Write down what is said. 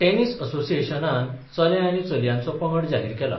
Tennis असोसिएशनान चले आनी चलयांचो पंगड जाहीर केला.